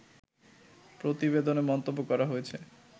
প্রতিবেদনে মন্তব্য করা হয়েছে